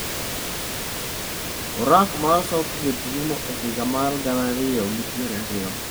Orak mar Southgate rumo e higa mar gana ariyo gi piero ariyo.